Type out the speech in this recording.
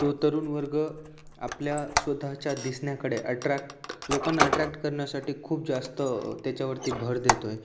तो तरुण वर्ग आपल्या स्वतःच्या दिसण्याकडे ॲट्रॅक्ट लोकांना ॲट्रॅक्ट करण्यासाठी खूप जास्त अ त्याच्यावरती भर देतोय.